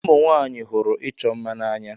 Ụmụ nwanyị hụrụ ịchọ mma n'anya.